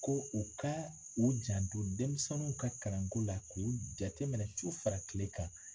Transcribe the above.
Ko u ka u janto denmisɛnninw ka kalanko la k'u jateminɛ su fara tile kan.